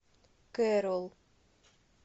кэрол